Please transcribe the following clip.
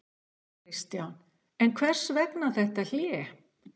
Kristján: En hvers vegna þetta hlé?